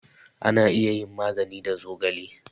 Ana iya yin magani da zogale